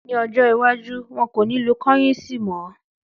Ní ọjọ́ iwájú, wọn kò ní lo kọ́yìǹsì mọ́